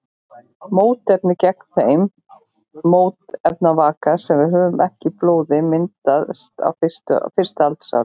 Mótefni gegn þeim mótefnavaka sem við höfum ekki í blóði myndast á fyrsta aldursári.